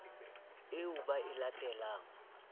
eo ba e late lang